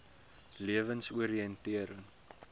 lewensoriëntering